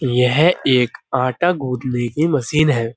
यह एक आटा गूदने की मशीन है।